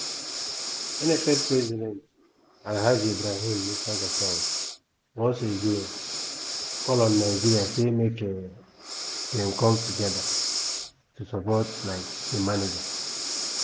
nff president alhaji ibrahim musa gusau once again call on nigeria say make um dem come togeda to support um di manager.